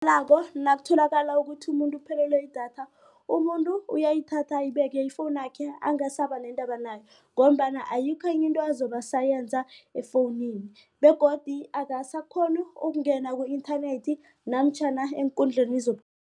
Nakutholakala ukuthi umuntu uphelelwe yidatha umuntu uyayithatha ayibeke ifowunakhe angasaba nendaba nayo. Ngombana ayikho into enye azobe asayenza efowunini begodu akasakghoni ukungena ku-internet namtjhana eenkundleni